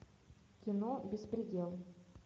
кино беспредел